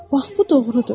Bax bu doğrudur.